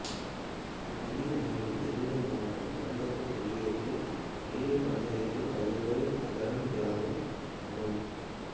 இப்பள்ளியின் அமைவிடம் திருவள்ளூர் மாவட்டம் கடம்பத்தூர் ஒன்றியத்தில் வயலூர் பஞ்சாயத்தில் வயலூர் அகரம் கிராமம் ஆகும்